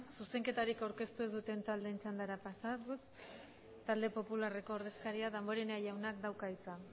zuzenketarik aurkeztu ez duten taldeen txandara pasatuz talde popularreko ordezkaria damborenea jaunak dauka hitza